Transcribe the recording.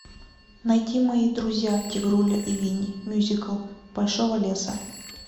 найти мои друзья тигруля и винни мюзикл большого леса